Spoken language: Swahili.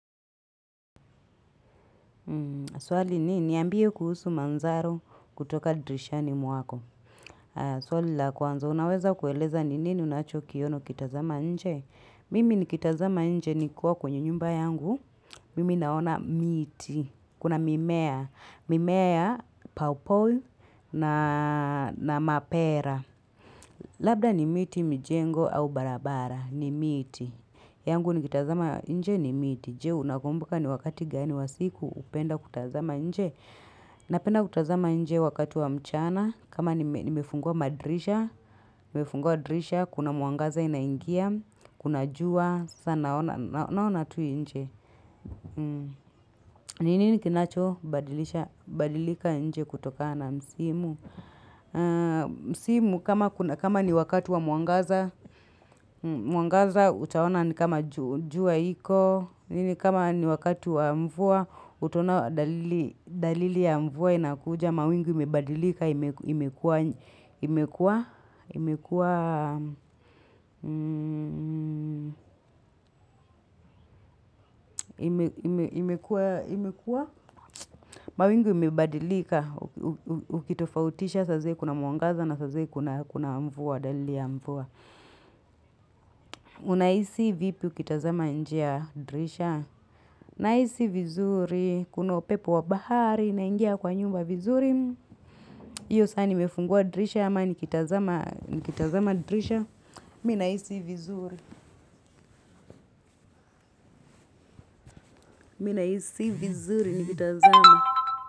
Swali ni, niambie kuhusu manzaro kutoka dirishani mwako. Swali la kwanza, unaweza kueleza ni nini unacho kiona ukitazama nje? Mimi nikitazama nje nikiwa kwenye nyumba yangu, Mimi naona miti. Kuna mimea. Mimea ya pawpaw na mapera. Labda ni miti mujengo au barabara. Ni miti. Yangu nikitazama nje ni miti. Je, unakumbuka ni wakati gani wa siku, hupenda kutazama nje. Napenda kutazama nje wakati wa mchana. Kama nimefungua madirisha, nimefungua dirisha, kuna mwangaza inaingia, kuna jua, sa naona tu nje. Ni nini kinacho badilika nje kutokana msimu. Msimu kama ni wakati wa mwangaza, mwangaza utaona ni kama jua iko. Kama ni wakati wa mvua, utona dalili ya mvua inakuja. Mawingu imebadilika, imekuwa imekuwa imekuwa imebadilika, ukitofautisha, saa zile kuna mwangaza na saa zile kuna mvua dalili ya mvua. Unahisi vipi ukitazama nje ya dirisha? Nahisi vizuri, kuna upepu wa bahari, unaingia kwa nyumba vizuri. Hiyo saa nimefungua dirisha ama nikitazama dirisha. Mi nahisi vizuri. Mi na isi vizuri nikitazama.